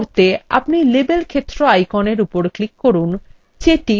এটি করতে আপনি label ক্ষেত্র আইকনের উপর click করুন